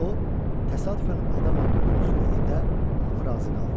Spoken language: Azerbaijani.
O təsadüfən adam öldürdüyünü söylədikdə hamı razı qaldı.